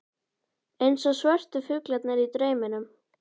Eins og svörtu fuglarnir í drauminum.